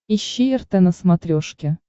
ищи рт на смотрешке